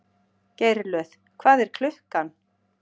Geirlöð, hvað er klukkan?